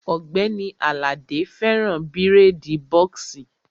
Ògbẹ́ni Àlàdé fẹ́ràn bírèèdì bọ́ọ̀ksì